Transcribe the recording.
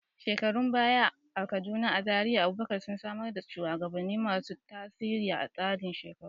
Shekarun baya a Kaduna, zuri'ar Abubakar sun samar da shugabanni masu tasiri a tsarin shekaru.